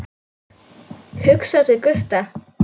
Hugsar til Gutta.